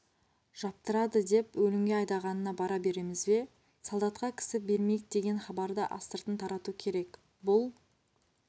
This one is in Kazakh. аптырады деп өлімге айдағанына бара береміз бе солдатқа кісі бермейік деген хабарды астыртын тарату керек бұл